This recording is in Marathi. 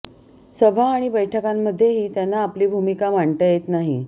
सभा आणि बैठकांमध्येही त्यांना आपली भूमिका मांडता येत नाही